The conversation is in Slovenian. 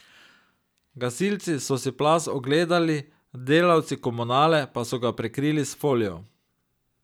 Gasilci so si plaz ogledali, delavci komunale pa so ga prekrili s folijo.